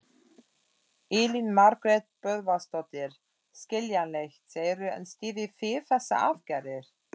Elín Margrét Böðvarsdóttir: Skiljanlegt, segirðu en styðjið þið þessar aðgerðir?